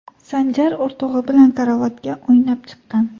Sanjar o‘rtog‘i bilan karavotga o‘ynab chiqqan.